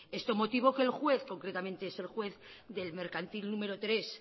esto motivó que el juez concretamente es el juez del mercantil número tres